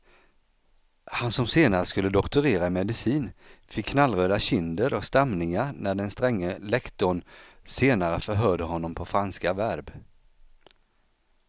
Han som senare skulle doktorera i medicin fick knallröda kinder och stamningar när den stränge lektorn senare förhörde honom på franska verb.